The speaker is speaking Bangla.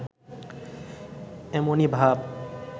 এমনি ভাব